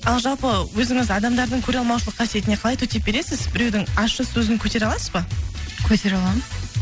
ал жалпы өзіңіз адамдардың көреалмаушылық қасиетіне қалай төтеп бересіз біреудің ащы сөзін көтере аласыз ба көтере аламын